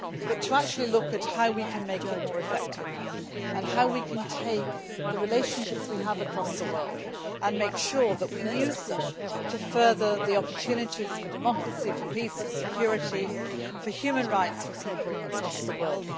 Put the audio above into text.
we should look at how we can make it more effective and how we can take the relationships we have across the world and make sure that we use them to further the opportunities for democracy, peace, security and human rights for people across the world.